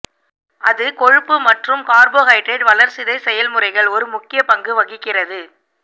அது கொழுப்பு மற்றும் கார்போஹைட்ரேட் வளர்சிதை செயல்முறைகள் ஒரு முக்கிய பங்கு வகிக்கிறது